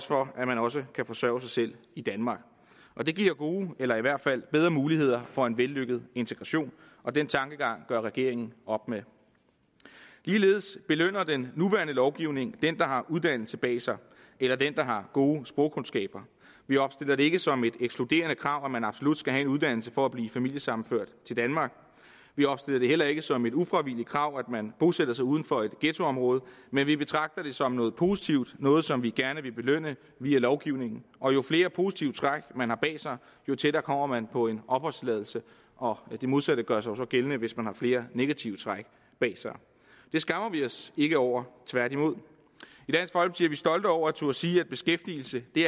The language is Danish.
for at man også kan forsørge sig selv i danmark og det giver jo gode eller i hvert fald bedre muligheder for en vellykket integration og den tankegang gør regeringen op med ligeledes belønner den nuværende lovgivning den der har uddannelse bag sig eller den der har gode sprogkundskaber vi opstiller det ikke som et ekskluderende krav at man absolut skal have en uddannelse for at blive familiesammenført til danmark vi opstiller det heller ikke som et ufravigeligt krav at man bosætter sig uden for et ghettoområde men vi betragter det som noget positivt noget som vi gerne vil belønne via lovgivningen og jo flere positive træk man har bag sig jo tættere kommer man på en opholdstilladelse og det modsatte gør sig så gældende hvis man har flere negative træk bag sig det skammer vi os ikke over tværtimod i vi stolte over at turde sige at beskæftigelse det